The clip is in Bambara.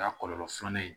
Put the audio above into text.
O y'a kɔlɔlɔ filanan ye